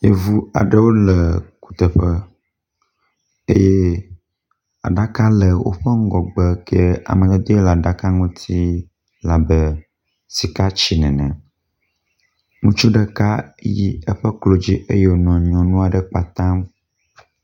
Yevu aɖewo le kuteƒe eye aɖaka le woƒe ŋgɔgbe, ke amadede le aɖaka ŋuti labe sika tsi nene, ŋutsu ɖeka yi eƒe klodzi eye wonɔ nyɔnu aɖe kpatam